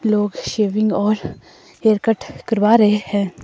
लोग शेविंग और hair cut करवा रहे हैं।